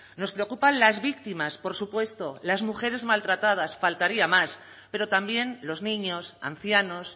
nos preocupan las víctimas por supuesto las mujeres maltratadas faltaría más pero también los niños ancianos